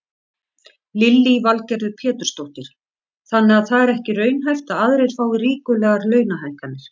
Lillý Valgerður Pétursdóttir: Þannig að það er ekki raunhæft að aðrir fái ríkulegar launahækkanir?